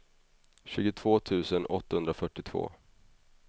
tjugotvå tusen åttahundrafyrtiotvå